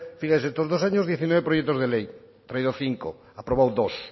fíjese estos dos años diecinueve proyectos de ley ha traído cinco ha aprobado dos